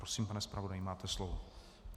Prosím, pane zpravodaji, máte slovo.